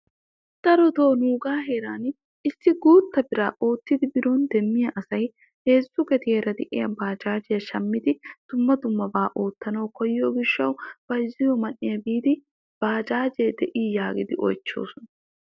Darotoo nuugaa heeran issi guutta biraa oottidi biro demmiyaa asay heezzu gediyaara de'iyaa baajajiyaa shammidi dumma dummabaa oottanawu koyyiyoo giishshawu bayzziyoo man"iyaa biidi bajaajee de'ii yaagidi oychchoosona.